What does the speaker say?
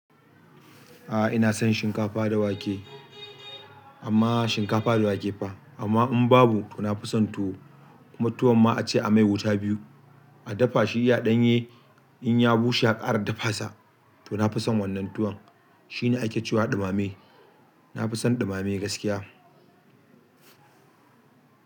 A'a ina son shinkafa da wake, amma shinkafa da wake fa. Amma in babu to na fi son tuwo. Tuwon ma a ce a mai wuta biyu, a dafa shi iya ɗanye in ya bushe a kara dafa sa. To na fi son wannan tuwon. Shi ne ake cewa ɗumame. Na fi son ɗumame gaskiya.